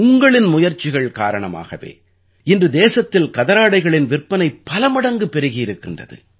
உங்களின் முயற்சிகள் காரணமாகவே இன்று தேசத்தில் கதராடைகளின் விற்பனை பலமடங்கு பெருகியிருக்கின்றது